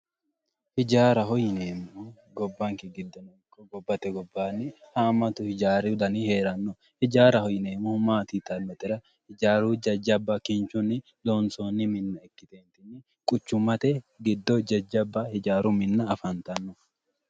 Hijaaraho yineemmohu gobbankera ikko gobbate gobaanni haammatu hijaaru Dani heeranno hijaaraho yineemmohu yitannotera hijaaru kinchiunni loonsoonni Minna ikkite quchummate giddo jajjabba hijaaru Minna afantanno.